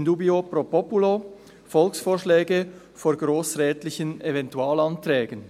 In dubio pro populo: Volksvorschläge vor grossrätlichen Eventualanträgen»